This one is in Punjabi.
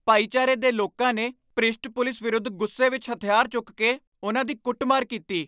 ਭਾਈਚਾਰੇ ਦੇ ਲੋਕਾਂ ਨੇ ਭ੍ਰਿਸ਼ਟ ਪੁਲਿਸ ਵਿਰੁੱਧ ਗੁੱਸੇ ਵਿੱਚ ਹਥਿਆਰ ਚੁੱਕ ਕੇ ਉਨ੍ਹਾਂ ਦੀ ਕੁੱਟਮਾਰ ਕੀਤੀ।